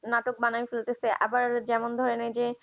নাটক বানাই ফেলতেছে আবার যেমন ধরনের যে